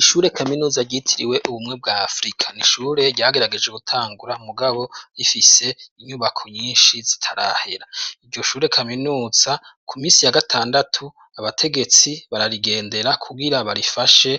Ishure kaminuza ryitiriwe ubumwe bwa afrika n'ishure ryagerageje gutangura mugabo rifise inyubako nyinshi zitarahera iryo shure kaminuza ku minsi ya gatandatu abategetsi bararigendera kugira barifashe